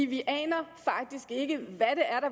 vi aner faktisk ikke hvad